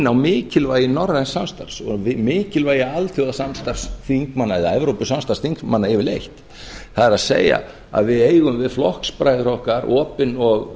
á mikilvægi norræns samstarfs og mikilvægi alþjóðasamstarfs eða evrópusamstarfs þingmanna yfirleitt það er að við eigum við flokksbræður okkar opin